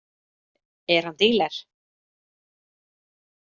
Er hann díler?